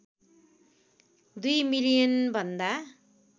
२ million भन्दा